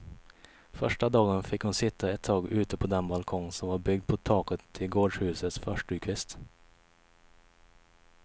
Första dagen fick hon sitta ett tag ute på den balkong, som var byggd på taket till gårdshusets förstukvist.